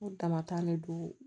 O damatan ne don